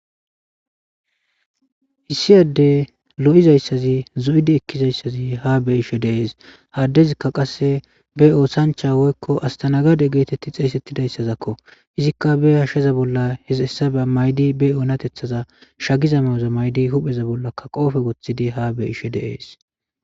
issiyaddey lo7izayssazi zo7idi ekkizayssazi ha be ishe deees haddezikka qasse be oosancha woykko astanagade geetetti xeesettidayssazakko izikka be hashsheza bolla hesessa ba maydi be oonatethaza shagiza ma7oza maydi hupheza bollaka qoofe wothidi ha be ishe deees